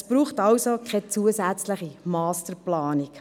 Es braucht also keine weitere Masterplanung.